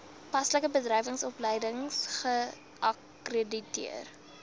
paslike bedryfsopleidingsowerheid geakkrediteer